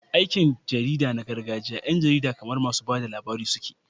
A aikin jarida na gargajiya, 'yan jarida kamar masu ba da labari suke.